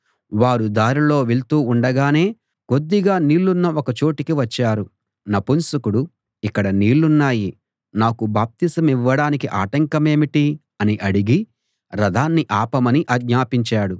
వారు దారిలో వెళ్తూ ఉండగానే కొద్దిగా నీళ్ళున్న ఒక చోటికి వచ్చారు నపుంసకుడు ఇక్కడ నీళ్ళున్నాయి నాకు బాప్తిసమివ్వడానికి ఆటంకమేమిటి అని అడిగి రథాన్ని ఆపమని ఆజ్ఞాపించాడు